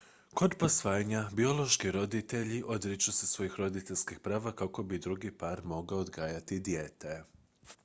kod posvajanja biološki roditelji odriču se svojih roditeljskih prava kako bi drugi par mogao odgajati dijete